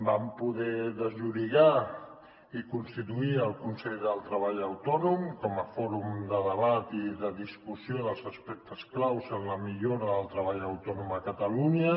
vam poder desllorigar i constituir el consell del treball autònom com a fòrum de debat i de discussió dels aspectes claus en la millora del treball autònom a catalunya